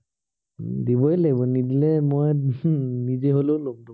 দিবই লাগিব। নিদিলে মই নিজে হলেও লম মই।